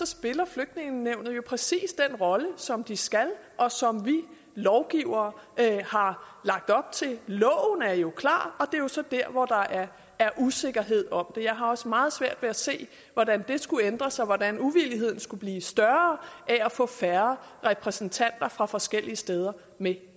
spiller flygtningenævnet jo præcis den rolle som de skal og som vi lovgivere har lagt op til loven er jo klar og det er så der hvor der er er usikkerhed om det jeg har også meget svært ved at se hvordan det skulle ændre sig hvordan uvildigheden skulle blive større af at få færre repræsentanter fra forskellige steder med